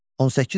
18.3.